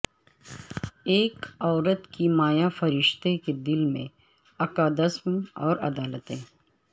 ایک عورت کی مایا فرشتہ کے دل میں اکادمس اور عدالتیں